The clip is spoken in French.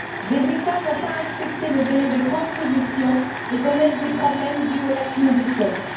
Des États n'ont pas respecté le délai de transposition et connaissent des problèmes dus aux lacunes du texte.